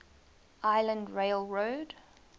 island rail road